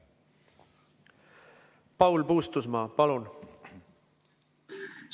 Paul Puustusmaa, palun!